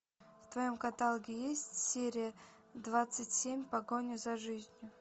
в твоем каталоге есть серия двадцать семь погоня за жизнью